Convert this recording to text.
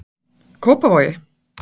Kópavogi